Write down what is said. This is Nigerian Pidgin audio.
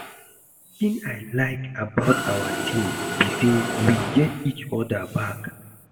Wetin I like about our team be say we get each other back